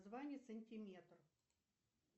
звание сантиметр